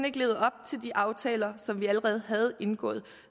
ikke levede op til de aftaler som vi allerede havde indgået